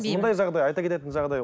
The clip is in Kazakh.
мұндай жағдай айта кететін жағдай